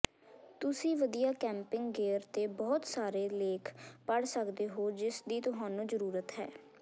ਤੁਸੀਂ ਵਧੀਆ camping gear ਤੇ ਬਹੁਤ ਸਾਰੇ ਲੇਖ ਪੜ੍ਹ ਸਕਦੇ ਹੋ ਜਿਸਦੀ ਤੁਹਾਨੂੰ ਜ਼ਰੂਰਤ ਹੈ